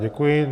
Děkuji.